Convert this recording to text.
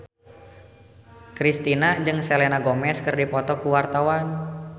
Kristina jeung Selena Gomez keur dipoto ku wartawan